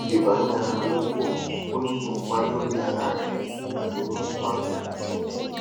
ibani ara lopo o ni ipa lori ara re tabi mu ato re tintin